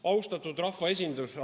Austatud rahvaesindus!